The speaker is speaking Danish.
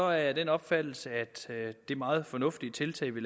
jeg af den opfattelse at det meget fornuftige tiltag vi